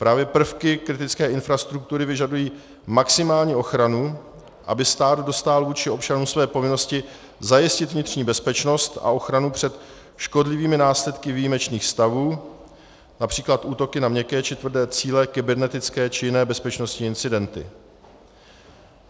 Právě prvky kritické infrastruktury vyžadují maximální ochranu, aby stát dostál vůči občanům své povinnosti zajistit vnitřní bezpečnost a ochranu před škodlivými následky výjimečných stavů, například útoky na měkké či tvrdé cíle, kybernetické či jiné bezpečnostní incidenty.